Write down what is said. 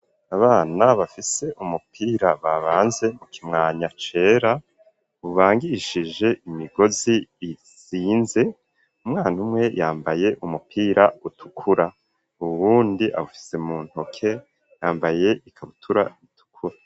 Abana bafise umupira babanze mu kimwanya cera, ubangishije imigozi izinze, umwana umwe yambaye umupira utukura, uwundi awufise mu ntoke yambaye ikabutura itukura.